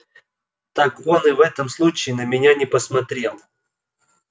так он и в этом случае на меня не посмотрел